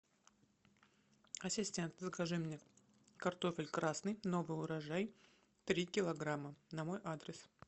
ассистент закажи мне картофель красный новый урожай три килограмма на мой адрес